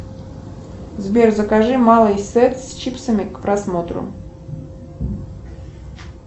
сбер закажи малый сет с чипсами к просмотру